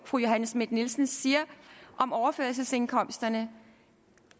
fru johanne schmidt nielsen siger om overførselsindkomsterne